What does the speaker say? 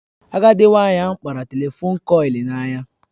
Agadị nwanyị ahụ kpara telefon kọịlị n'ahịa